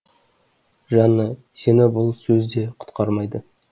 жанна сені бұл сөз де құтқармайды